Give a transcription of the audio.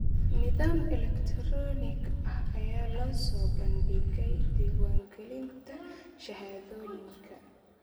Nidaam elektaroonig ah ayaa loo soo bandhigay diiwaangelinta shahaadooyinka.